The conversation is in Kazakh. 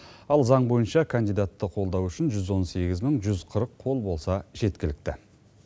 ал заң бойынша кандидатты қолдау үшін жүз он сегіз мың жүз қырық қол болса жеткілікті